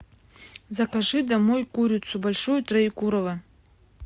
закажи домой курицу большую троекурово